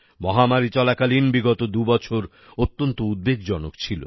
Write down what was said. মহামারী চলাকালীন বিগত দুবছর অত্যন্ত উদ্বেগজনক ছিল